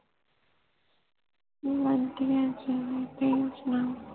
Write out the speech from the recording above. ਵੜਿਆ ਜੀ ਤੁਸੀ ਸੁਣਾਓ